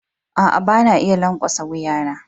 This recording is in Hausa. Aa, ba na iya lankwasa wuya na.